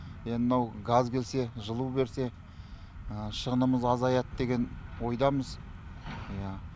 енді мынау газ келсе жылу берсе шығынымыз азаяды деген ойдамыз иә